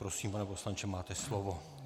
Prosím, pane poslanče, máte slovo.